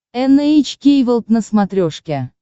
эн эйч кей волд на смотрешке